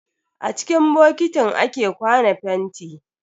A ciki bokitin ake kwana fenti.